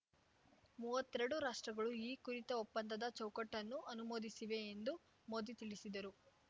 ಮುವತ್ತೆರಡು ರಾಷ್ಟ್ರಗಳು ಈ ಕುರಿತ ಒಪ್ಪಂದದ ಚೌಕಟ್ಟನ್ನು ಅನುಮೋದಿಸಿವೆ ಎಂದು ಮೋದಿ ತಿಳಿಸಿದರು